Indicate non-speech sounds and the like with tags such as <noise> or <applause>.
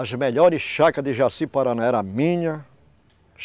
As melhores chácaras de Jaci Paraná eram minhas. <unintelligible>